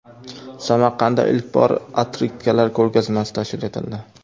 Samarqandda ilk bor otkritkalar ko‘rgazmasi tashkil etildi .